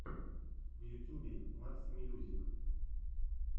в ютьюбе максимьюзик